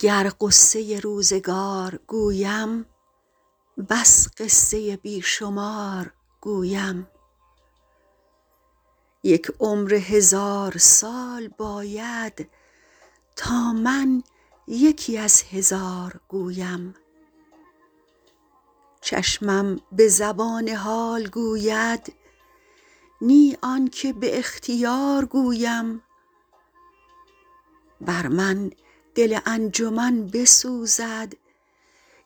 گر غصه روزگار گویم بس قصه بی شمار گویم یک عمر هزار سال باید تا من یکی از هزار گویم چشمم به زبان حال گوید نی آن که به اختیار گویم بر من دل انجمن بسوزد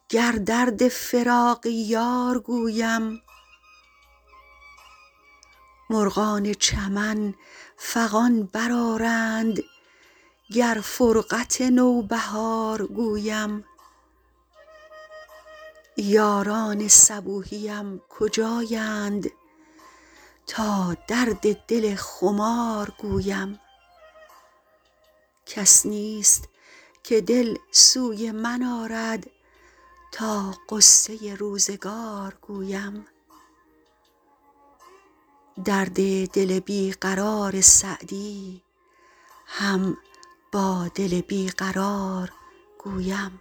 گر درد فراق یار گویم مرغان چمن فغان برآرند گر فرقت نوبهار گویم یاران صبوحیم کجایند تا درد دل خمار گویم کس نیست که دل سوی من آرد تا غصه روزگار گویم درد دل بی قرار سعدی هم با دل بی قرار گویم